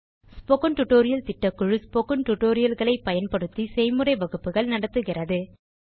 spoken tutorial திட்டக்குழு spoken tutorial களை பயன்படுத்தி செய்முறை வகுப்புகள் நடத்துகிறது